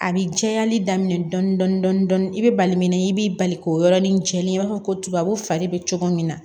A bi cayali daminɛ dɔɔnin i be bali min na i b'i bali k'o yɔrɔnin jɛlen ye i b'a fɔ ko tubabu fari bɛ cogo min na